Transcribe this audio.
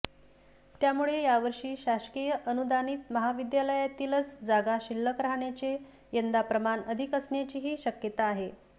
त्यामुळे यावर्षी शासकीय अनुदानित महाविद्यालयातीलच जागा शिल्लक राहण्याचे यंदा प्रमाण अधिक असण्याचीही शक्यता आहे